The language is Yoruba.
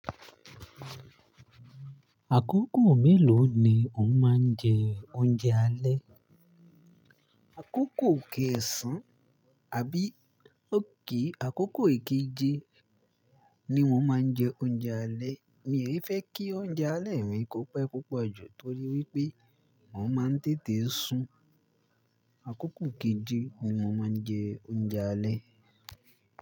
Àkókò mélòó ni wọ́n máa ń jẹ oúnjẹ alẹ́? Àkókò kéẹ̀sán àbí òkè àkókò keje ni wọ́n máa ń jẹ oúnjẹ alẹ́. Èmi yóò fẹ́ kí oúnjẹ alẹ́ mi kópẹ púpọ̀ jù torí wípé wọ́n máa ń tètè sùn. Àkókò keje ni wọ́n máa ń jẹ oúnjẹ alẹ́.